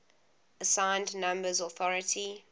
assigned numbers authority